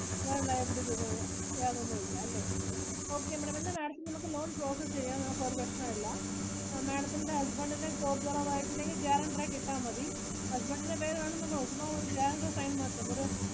വേറെ liabilities ഒന്നും ഇല്ല. വേറെ ഒന്നും ഇല്ല അല്ലെ. Okay madam loan process ചെയ്യാം നമുക്ക് ഒരു പ്രശ്‍നോം ഇല്ല. Madam ത്തിന്റെ husband ഇന്റെ job കുറവായിട്ടുട്ടെങ്കിൽ ഉണ്ടെങ്കിൽ guaranteer ആയിട്ടു ഇട്ടാ മതി. Husband ഇന്റെ പേര് വേണമെന്ന് ഒന്നും ഇല്ല, ചുമ്മാ ഒരു guaranteer ഇന്റെ sign മാത്രം ഒരു